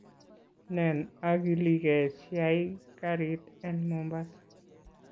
Nen akilkee siyai karit en mombasa